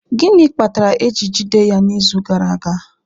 Gịnị kpatara eji jide ya n'izu gara aga?